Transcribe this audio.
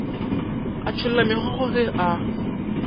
a tšholla megokgo ge a